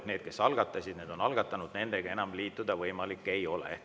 Need, kes algatasid, on algatanud ja nendega enam liituda võimalik ei ole.